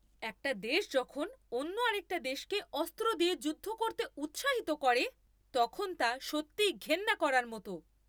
একটা দেশ যখন অন্য আরেকটা দেশকে অস্ত্র দিয়ে যুদ্ধ করতে উৎসাহিত করে, তখন তা সত্যিই ঘেন্না করার মতো।